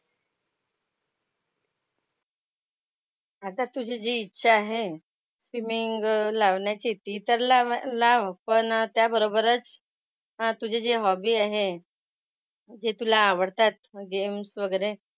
आता तुझी जी इच्छा आहे स्विमिंग लावण्याची ती तर लावा लाव पण त्याबरोबरच हां तुझी जी हॉबी आहे जे तुला आवडतात मग गेम्स वगैरे,